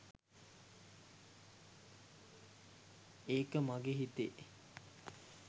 ඒක මගේ හිතේ.